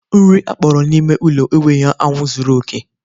Nri akpọrọ n'ime ụlọ enweghị anwụ zuru oke